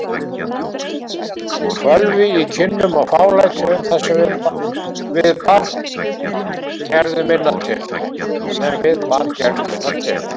Fölvi í kinnum og fálæti um það sem við bar gerðu minna til.